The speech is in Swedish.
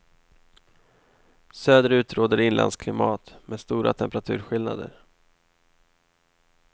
Söderut råder inlandsklimat med stora temperaturskillnader.